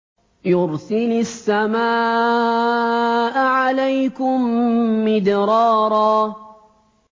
يُرْسِلِ السَّمَاءَ عَلَيْكُم مِّدْرَارًا